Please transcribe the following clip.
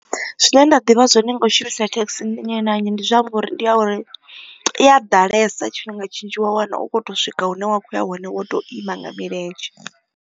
Zwine nda ḓivha zwone nga u shumisa thekhisi ndi nnyi na nnyi ndi zwa uri ndi ya uri i a ḓalesa tshifhinga tshinzhi wa wana u khou to swika hune wa kho ya hone wo to ima nga milenzhe.